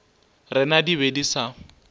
rena di be di sa